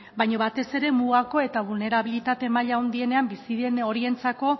baina batez ere mugako eta bulnerabilitate maila handienean bizi diren horientzako